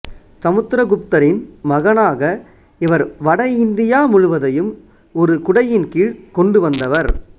சமுத்திரகுப்தரின் மகனாக இவர் வடஇந்தியா முழுவதையும் ஒரு குடையின் கீழ் கொண்டு வந்தவர்